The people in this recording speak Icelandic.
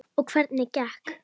Og hvernig gekk?